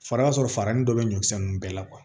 Fara y'a sɔrɔ farin dɔ bɛ ɲɔkisɛ ninnu bɛɛ la